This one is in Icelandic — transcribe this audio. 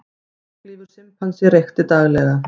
Langlífur simpansi reykti daglega